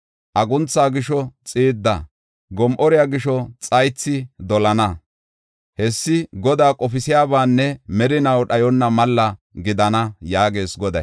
Aguntha gisho xiidda, gom7ore gisho xaythi dolana. Hessi Godaa qofisiyabaanne merinaw dhayonna malla gidana” yaagees Goday.